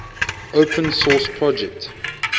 open source project